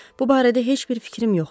Bu barədə heç bir fikrim yoxdur.